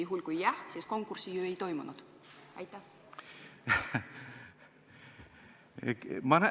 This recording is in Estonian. Juhul, kui vastuseks on "Jah", siis konkurssi ju ei toimunud!